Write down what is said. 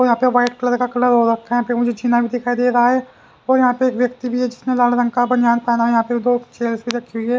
और यहां पे वाइट कलर का कलर हो रखा है यहां पे मुझे जीना भी दिखाई दे रहा है और यहां पे एक व्यक्ति भी है जिसने लाल रंग का बनयान पहना है यहां पे दो छेल्स भी रखी हुई है।